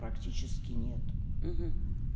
практически нет